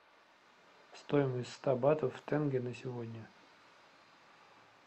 стоимость ста батов в тенге на сегодня